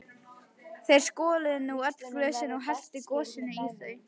Þeir skoluðu nú öll glösin og helltu gosinu á þau.